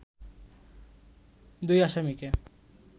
দুই আসামিকে